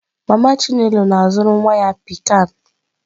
Mama chinelo na-azụrụ nwa ya pikan.